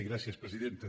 gràcies presidenta